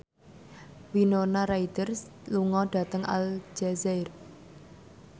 Winona Ryder lunga dhateng Aljazair